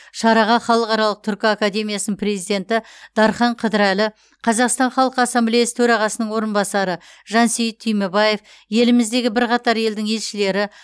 шараға халықаралық түркі академиясының президенті дархан қыдырәлі қазақстан халқы ассамблеясы төрағасының орынбасары жансейіт түймебаев еліміздегі бірқатар елдің елшілері